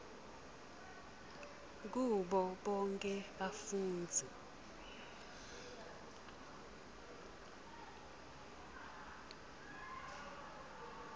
kubo bonkhe bafundzi